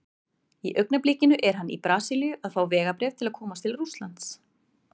Í augnablikinu er hann í Brasilíu að fá vegabréf til að komast til Rússlands.